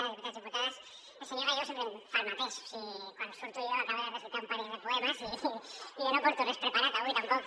diputats diputades el senyor gallego sempre em fa el mateix o sigui quan surto jo acaba de recitar un parell de poemes i jo no porto res preparat avui tampoc